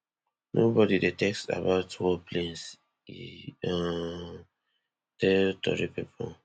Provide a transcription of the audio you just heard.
nobody dey text about war plans e um tell tori pipo